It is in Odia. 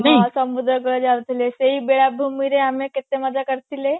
ହଁ ସମୁଦ୍ର କୂଳକୁ ଯାଉଥିଲେ ସେଇ ବେଳାଭୂମିରେ ଆମେ କେତେ ମଜା କରିଥିଲେ